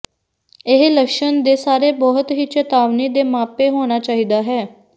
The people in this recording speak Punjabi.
ਇਹ ਲੱਛਣ ਦੇ ਸਾਰੇ ਬਹੁਤ ਹੀ ਚੇਤਾਵਨੀ ਦੇ ਮਾਪੇ ਹੋਣਾ ਚਾਹੀਦਾ ਹੈ